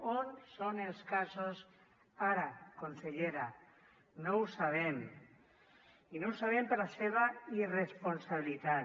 on són els casos ara consellera no ho sabem i no ho sabem per la seva irresponsabilitat